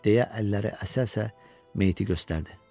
deyə əlləri əsə-əsə meyti göstərdi.